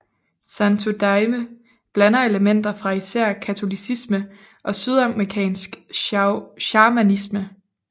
Santo Daime blander elementer fra især katolicisme og sydamerikansk shamanisme